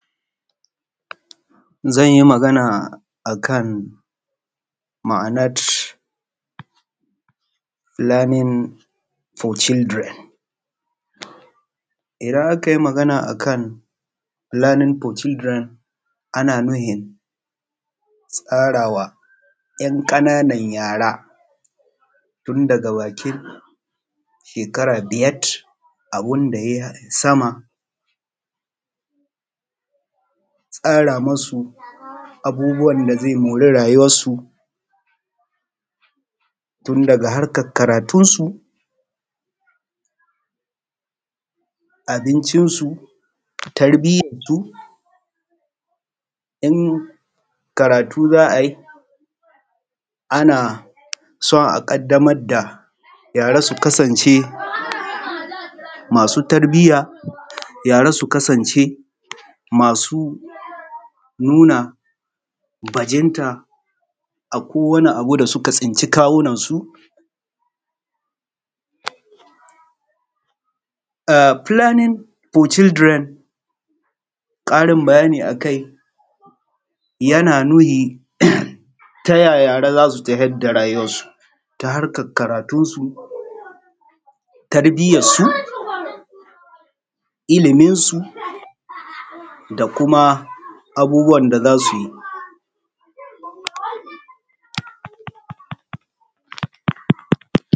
Zan yi magana akan ma’anar planning for children idan aka yi magana akan planning for children ana nufin tsarawa ‘yan ƙananan yara tun daga bakin shekara biyar abun da ya yi sama tsara masu abubuwan da zai mori rayuwar su tun daga harkan karatunsu, abincinsu, tarbiyarsu, in karatu za a yi ana son a ƙadamar da yara sun kasance masu tarbiya, yara sun kasance masu nuna bajinta a kowane abu da suka tsinci kawunansu. P lanning for children ƙarin bayani akai yana nuni ta ya yara za suna tafiyar da rayuwansu ta harkar karatunsu, tarbiyarsu, iliminsu da kuma abubuwan da za su yi.